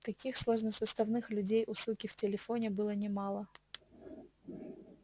таких сложносоставных людей у суки в телефоне было немало